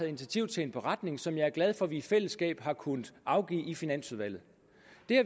initiativ til en beretning som jeg er glad for at vi i fællesskab har kunnet afgive i finansudvalget